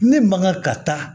Ne man kan ka taa